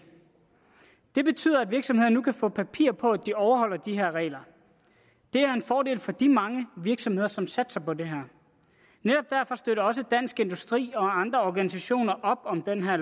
det betyder at virksomhederne nu kan få papir på at de overholder de her regler det er en fordel for de mange virksomheder som satser på det her netop derfor støtter også dansk industri og andre organisationer op om det her